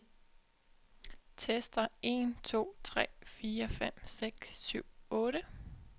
Tester en to tre fire fem seks syv otte.